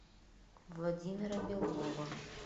владимира белова